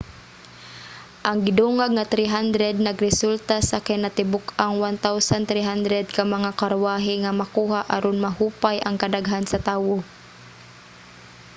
ang gidungag nga 300 nagresulta sa kinatibuk-ang 1,300 ka mga karwahe nga makuha aron mahupay ang kadaghan sa tawo